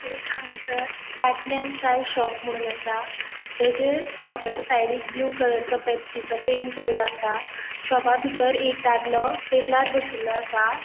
एक हांगासर पाटनेम चाय शॉप मुनोन आसा तेजेर शॉपाच्या साइडिक ब्लू कलरचो पेप्सीचो पैंट केलो आसा शॉपा बितर एक दादलो टेबलार बशिल्लो आसा.